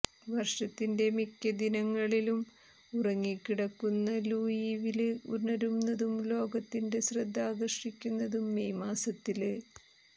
വര്ഷത്തിന്റെ മിക്ക ദിനങ്ങളിലും ഉറങ്ങിക്കിടക്കുന്ന ലൂയിവില് ഉണരുന്നതും ലോകത്തിന്റെ ശ്രദ്ധ ആകര്ഷിക്കുന്നതും മേയ് മാസത്തില്